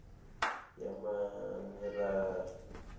yamamerari